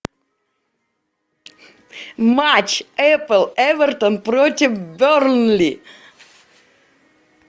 матч апл эвертон против бернли